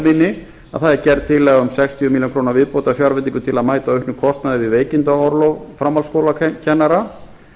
minni að það er gerð tillaga um sextíu milljónir króna fjárveitingu til að mæta auknum kostnaði við veikindaorlof framhaldsskólakennara